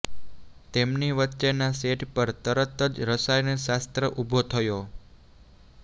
તેમની વચ્ચેના સેટ પર તરત જ રસાયણશાસ્ત્ર ઊભો થયો